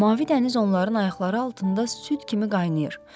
Mavi dəniz onların ayaqları altında süd kimi qaynayır.